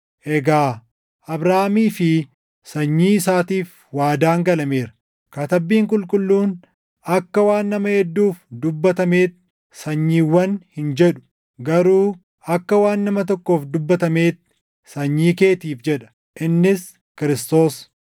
Egaa Abrahaamii fi sanyii isaatiif waadaan galameera. Katabbiin Qulqulluun, akka waan nama hedduuf dubbatameetti, “Sanyiiwwan” hin jedhu; garuu akka waan nama tokkoof dubbatameetti, “Sanyii keetiif” + 3:16 \+xt Uma 12:7; 13:15; 24:7\+xt* jedha; innis Kiristoos.